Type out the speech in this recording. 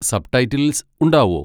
Subtitles ഉണ്ടാവോ?